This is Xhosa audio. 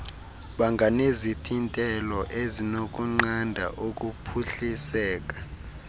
banganezithintelo ezinokunqanda ukuphuhliseka